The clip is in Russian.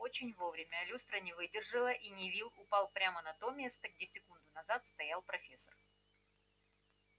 очень вовремя люстра не выдержала и невилл упал прямо на то место где секунду назад стоял профессор